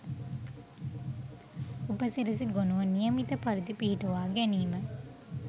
උපසිරැසි ගොණුව නියමිත පරිදි පිහිටුවා ගැනීම